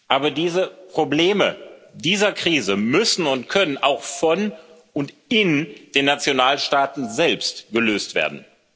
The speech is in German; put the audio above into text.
Aber die Probleme dieser Krise müssen und können auch von und in den Nationalstaaten selbst gelöst werden.